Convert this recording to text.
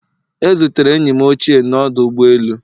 E zutere enyi m ochie n'ọdụ ụgbọ elu